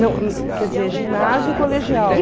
Não, quer dizer, ginásio e colegial.